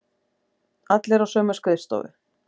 Allir á sömu skrifstofu.